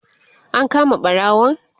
an kama ɓarawon?